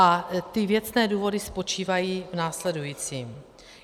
A ty věcné důvody spočívají v následujícím.